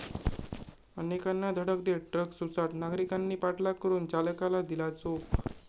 अनेकांना धडक देत ट्रक सुसाट, नागरिकांनी पाठलाग करून चालकाला दिला चोप